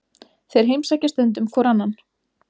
Þeir heimsækja stundum hvor annan.